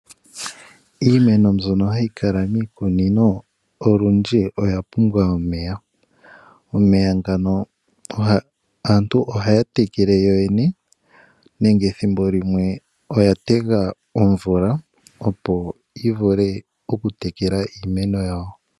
Iimeno mbyono hayi kala miikunino olundji oya pumbwa omeya. Aantu ohaya tekele yo yene nenge thimbolimwe oya tega omvula opo yi vule okutekela iimeno yawo.